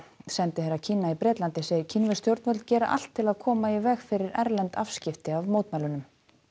sendiherra Kína í Bretlandi segir kínversk stjórnvöld gera allt til að koma í veg fyrir erlend afskipti af mótmælunum